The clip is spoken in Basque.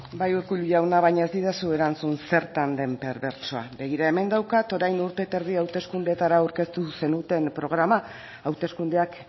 bai urkullu jauna baina ez didazu erantzun zertan den perbertsoa begira hemen daukat orain dela urte eta erdi hauteskundeetara aurkeztu zenuten programa hauteskundeak